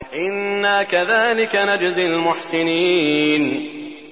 إِنَّا كَذَٰلِكَ نَجْزِي الْمُحْسِنِينَ